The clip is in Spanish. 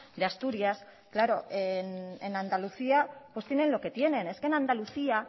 de asturias claro en andalucía pues tienen lo que tienen es que en andalucía